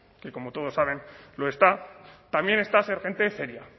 que como todos saben lo está también está ser gente seria